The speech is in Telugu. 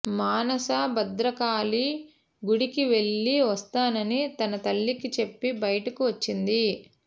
మానస భద్రకాళి గుడికి వెళ్ళి వస్తానని తన తల్లికి చెప్పి బయటకు వచ్చింది